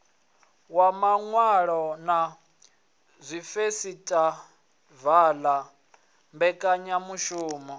ya vhaṅwali na dzifesitivala mbekanyamishumo